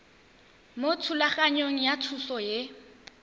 mo thulaganyong ya thuso y